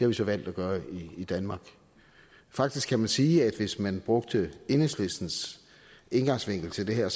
vi så valgt at gøre i danmark faktisk kan man sige at hvis man brugte enhedslistens indgangsvinkel til det her